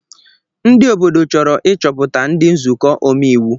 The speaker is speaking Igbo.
Ndị obodo chọrọ ịchọpụta ndị nzukọ omeiwu